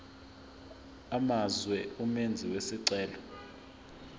amazwe umenzi wesicelo